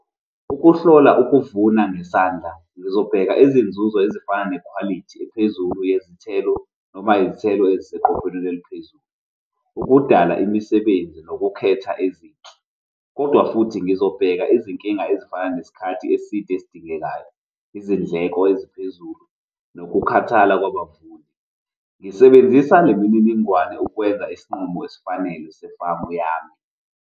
Ukuhlola ukuvuna ngesandla, ngizobheka izinzuzo ezifana nekhwalithi ephezulu yezithelo noma izithelo eziseqophelweni eliphezulu. Ukudala imisebenzi nokukhetha ezinhle. Kodwa futhi ngizobheka izinkinga ezifana nesikhathi eside esidingekayo, izindleko eziphezulu, nokukhathala kwabafundi. Ngisebenzisa lemininingwane ukwenza isinqumo esifanele sefamu yami.